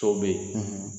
So bɛ yen